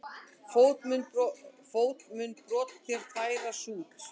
Fót mun brot þér færa sút.